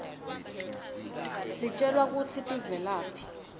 sitjelwa kutsi tivelaphi